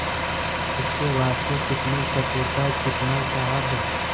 इसके वास्ते कितनी चतुरता कितना साहब